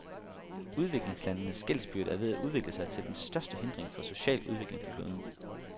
Udviklingslandenes gældsbyrde er ved at udvikle sig til den største hindring for social udvikling på kloden.